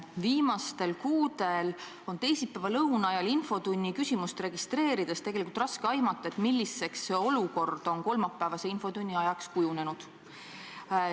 Viimastel kuudel on teisipäeva lõuna ajal infotunni küsimust registreerides tegelikult raske aimata, milliseks on olukord kolmapäevase infotunni ajaks kujunenud.